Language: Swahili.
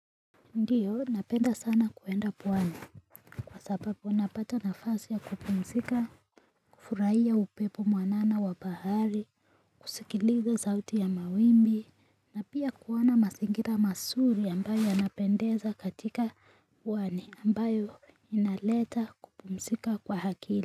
Ndiyo, napenda sana kuenda pwani kwa sababu unapata nafasi ya kupumzika, kufurahia upepo mwanana wa bahari, kusikiliza sauti ya mawimbi, na pia kuona masingira masuri ambayo yanapendeza katika pwani ambayo inaleta kupumzika kwa akili.